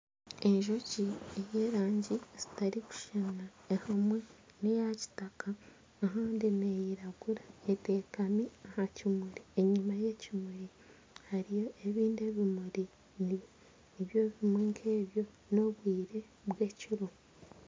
Enjoki ez'erangi zitarikushushana emwe neya kitaka ahandi neyiragura eteekami aha kimuri enyuma y'ekimuri harimu ebindi ebimuri nibyo bimwe nkebyo n'obwire bw'ekiro